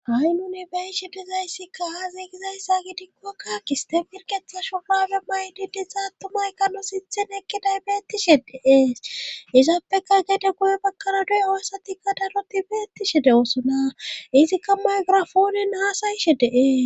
Ha7i nuni bayshe dizayssikka aaziigizayssa gidinkoakka kistemirketha shobabe maydidi za attumaykano sithen ekki daybeettishe deee izaappeka gede guye bakkana doy oossatikka daroti be ettishe de7oosona izikka maygrafoone naasayishe de7e.